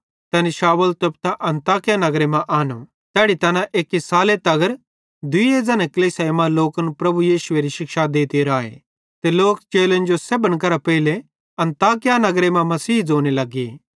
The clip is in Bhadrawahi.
तैनी शाऊल तोप्तां अन्ताकिया नगरे मां आनो तैड़ी तैना एक्की साले तगर दुइये ज़न्हे कलीसियाई मां लोकन प्रभु यीशुएरी शिक्षा देते राए ते लोक चेलन जो सेब्भन करां पेइले अन्ताकिया नगरे मां मसीही ज़ोने लगे